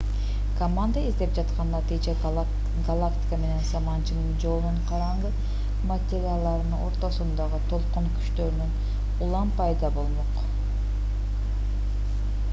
команда издеп жаткан натыйжа галактика менен саманчынын жолунун караңгы материяларыны ортосундагы толкун күчтөрүнүн улам пайда болмок